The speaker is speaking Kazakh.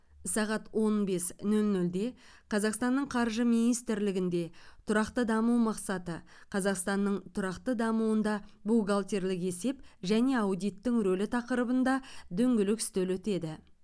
сағат он бес нөл нөлде қазақстанның қаржы министрлігінде тұрақты даму мақсаты қазақстанның тұрақты дамуында бухгалтерлік есеп және аудиттің рөлі тақырыбында дөңгелек үстел өтеді